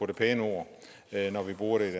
det pæne ord når vi bruger det